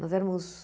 Nós éramos...